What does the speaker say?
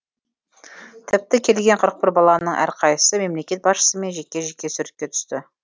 тіпті келген қырық бір баланың әрқайсысы мемлекет басшысымен жеке жеке суретке түсті